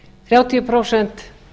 þrjátíu prósent